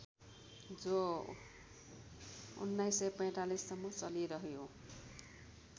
जो १९४५ सम्म चलिरह्यो